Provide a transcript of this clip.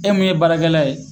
E mun ye baarakɛla ye